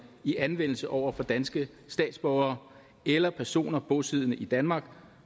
i anvendelse over for danske statsborgere eller personer bosiddende i danmark